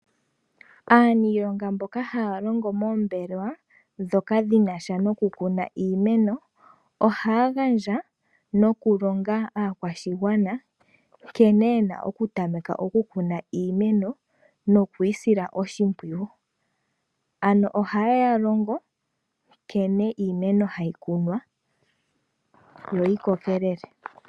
Aaniilonga mboka haya longo moombelewa dhoka dhina sha nokukuna iimeno, ojaya gandja nokulonga aakwashigwana nkene yena okutameka okukuna iimeno no ku yi sila oshimpwiyu. Ano ohaye ya longo nkene iimeno hayi kunwa, yo yi kokelele.